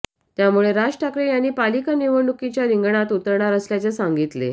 त्यामुळे राज ठाकरे यांनी पालिका निवडणुकीच्या रिंगणात उतरणार असल्याचे सांगितले